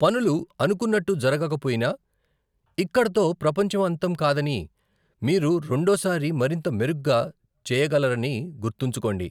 పనులు అనుకున్నట్టు జరగకపోయినా, ఇక్కడతో ప్రపంచం అంతం కాదని, మీరు రెండో సారి మరింత మెరుగ్గా చేయగలరని గుర్తుంచుకోండి.